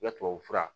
I ya tubabu fura